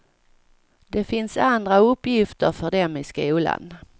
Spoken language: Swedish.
Det finns andra uppgifter för dem i skolan.